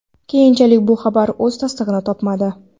Keyinchalik, bu xabar o‘z tasdig‘ini topmadi.